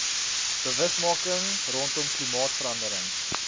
bewusmaking rondom klimaatsverandering